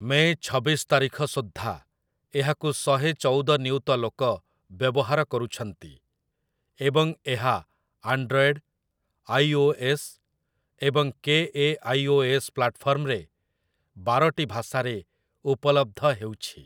ମେ' ଛବିଶ ତାରିଖ ସୁଦ୍ଧା ଏହାକୁ ଶହେ ଚଉଦ ନିୟୁତ ଲୋକ ବ୍ୟବହାର କରୁଛନ୍ତି, ଏବଂ ଏହା ଆଣ୍ଡ୍ରଏଡ୍, ଆଇ. ଓ. ଏସ୍. ଏବଂ K. A. I. O. S. ପ୍ଲାଟଫର୍ମରେ ବାରଟି ଭାଷାରେ ଉପଲବ୍ଧ ହେଉଛି ।